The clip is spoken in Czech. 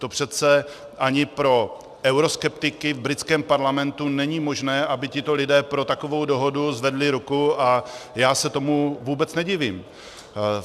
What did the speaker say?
To přece ani pro euroskeptiky v britském parlamentu není možné, aby tito lidé pro takovou dohodu zvedli ruku, a já se tomu vůbec nedivím.